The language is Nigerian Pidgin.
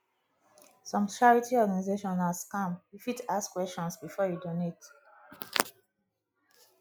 some charity organization na scam you fit ask questions before you donate